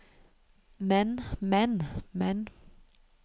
men men men